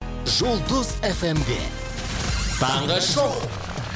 жұлдыз эф эм де таңғы шоу